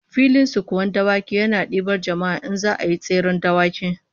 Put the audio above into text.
Filin sukuwan dawaki yana dibar jama'a in za'a yi tseren dawaki